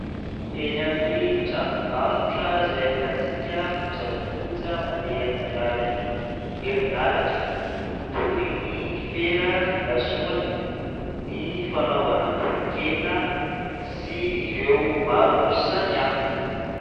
Eny amin'ny tranombarotra izay ahitantsika kojakoja mandeha amin'ny alalan'ny herinaratra toy ny fera fipasohana, ny fanaovana totonkena sy ireo maro samihafa.